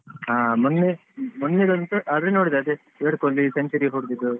ಹಾ ಮೊನ್ನೆ ಮೊನ್ನೆದೊಂದ್ ಆದ್ರೆ ನೋಡಿದ್ದೇ ಅದೇ ವಿರಾಟ್ ಕೊಹ್ಲಿ century ಹೋಡ್ಡಿದ್ದು.